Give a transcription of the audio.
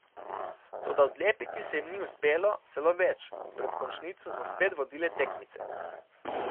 Toda odlepiti se jim ni uspelo, celo več, pred končnico so spet vodile tekmice.